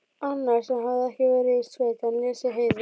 Annar sem hafði ekki verið í sveit en lesið Heiðu